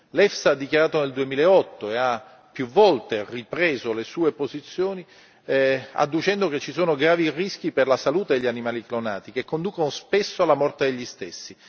L'EFSA ha dichiarato nel 2008 e ha più volte ripreso le sue posizioni adducendo che ci sono gravi rischi per la salute degli animali clonati che conducono spesso alla morte degli stessi.